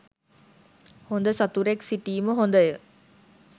හොඳ සතුරෙක් සිටීම හොඳය.